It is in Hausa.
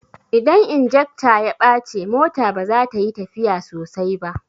Idan injekta ya bace mota baza tayi tafiya sosai ba